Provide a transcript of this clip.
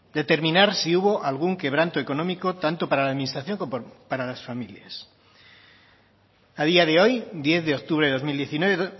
determinar si hubo algún quebranto económico tanto para la administración como para las familias a día de hoy diez de octubre de dos mil diecinueve